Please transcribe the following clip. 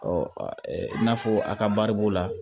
i n'a fɔ a ka baribon la